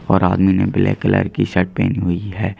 और आदमी ने ब्लैक कलर की शर्ट पहनी हुई है।